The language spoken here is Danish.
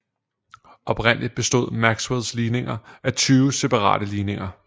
Oprindeligt bestod Maxwells ligninger af tyve separate ligninger